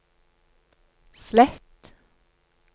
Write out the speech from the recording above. slett